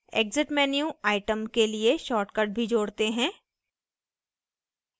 exit menu item के लिए shortcut भी जोड़ते हैं